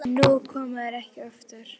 En nú koma þeir ekki oftar.